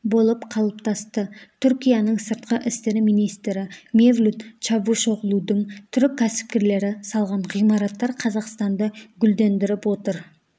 болып қалыптасты түркияның сыртқы істер министрі мевлют чавушоғлудың түрік кәсіпкерлері салған ғимараттар қазақстанды гүлдендіріп отыр